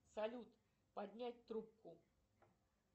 салют поднять трубку